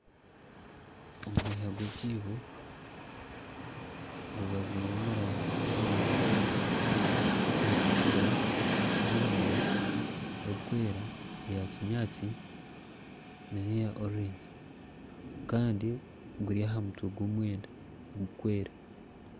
Omuhiha gw'ekiibo gubaziire omu rangi z'emiringo nyingi, erikutukura, erikwiragura, erikwera, eya kinyaatsi nana eya orurengi kandi guri aha mutwe gw'omwenda gurikwera